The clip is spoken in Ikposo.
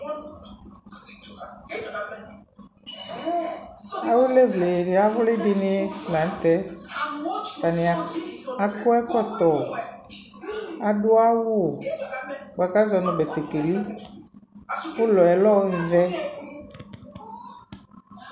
awulevle awlidɩnɩ lanutɛ, atanɩ akɔ ɛkɔtɔ, adʊ betekeli, ulɔ yɛ lɛ ɔvɛ